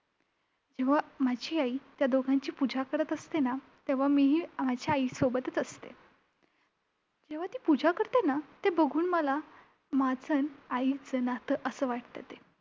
जेव्हा माझी आई त्या दोघांची पुजा करत असते ना, तेव्हा मी ही माझ्या आईसोबतच असते. जेव्हा ती पुजा करते ना, ते बघून मला माझं अन आईचं नातं असं वाटतं ते.